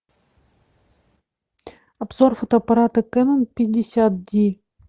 обзор фотоаппарата кэнон пятьдесят ди